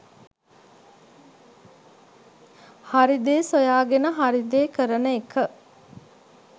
හරි දේ සොයාගෙන හරි දේ කරන එක.